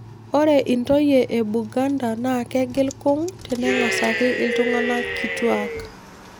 Ore intoyie e Buganda naa ekegil kung' tenengasaki iltung'anak kituak